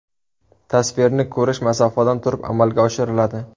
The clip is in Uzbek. Tasvirni ko‘rish masofadan turib amalga oshiriladi.